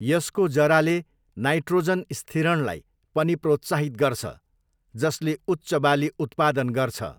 यसको जराले नाइट्रोजन स्थिरणलाई पनि प्रोत्साहित गर्छ, जसले उच्च बाली उत्पादन गर्छ।